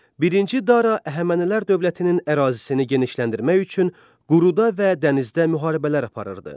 Birinci Dara Əhəmənilər dövlətinin ərazisini genişləndirmək üçün quruda və dənizdə müharibələr aparırdı.